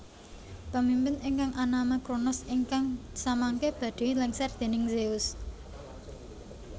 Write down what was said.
Pemimpin ingkang anama Kronos ingkang samangke badhé lèngser déning Zeus